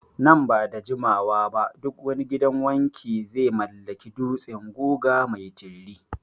Nan ba da jimawa ba duk wani gidan wanki Ze mallaki dutsen guga mai tiriri